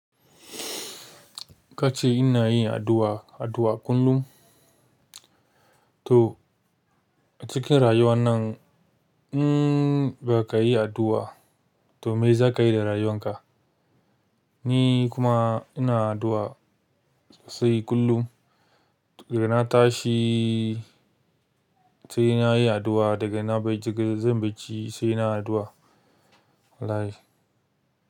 Ka ce ina yin addu'a, addu'a kullum. To a cikin rayuwan nan in ba ka yi addu'a to me za ka yi da rayuwan ka? Ni kuma ina addu'a sai kullum. Daga na tashi sai na yi addu'a, daga na bai jigin zan bacci sai na addu'a. Allah ya.